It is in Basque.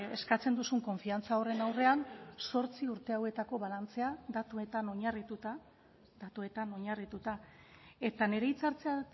eskatzen duzun konfiantza horren aurrean zortzi urte hauetako balantzea datuetan oinarrituta datuetan oinarrituta eta nire hitza hartzea